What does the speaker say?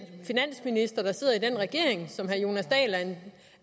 finansminister der sidder i den regering som